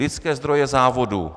Lidské zdroje závodu.